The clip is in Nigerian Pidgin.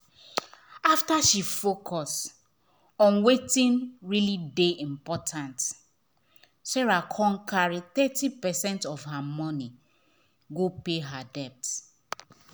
after she focus on wetin really dey important sarah con carry thirty percent of her money go pay her debt.